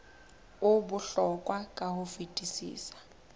o bohlokwa ka ho fetisisa